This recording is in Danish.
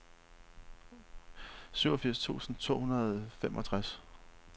syvogfirs tusind to hundrede og femogtres